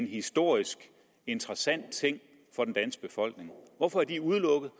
historisk interesse for den danske befolkning hvorfor er de udelukket